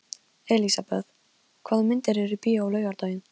Elisabeth, hvaða myndir eru í bíó á laugardaginn?